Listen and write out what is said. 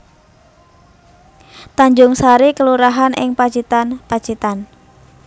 Tanjungsari kelurahan ing Pacitan Pacitan